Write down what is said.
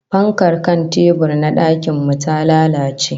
Fankar kan tebur na dakin mu ta lalace